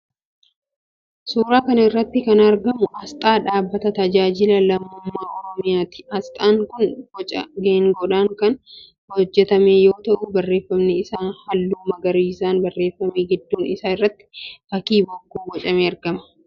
Suuraa kana irratti kan argamu aasxaa dhaabbata "TAJAAJILA LAMMUMMAA OROMIYAA"ti. Aasxaan kun boca geengoodhaan kan hojjetame yoo ta'u barreeffamni isaa halluu magariisaan barreeffame. Gidduu isaa irratti fakkiin bokkuu bocamee argama.